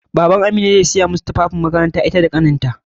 BabanAmina zai saya masu tufafin makaranta ita da ƙaninta.